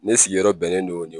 Ne sigiyɔrɔ bɛnnen don